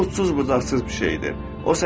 O sonsuz, bucaqsız bir şeydir.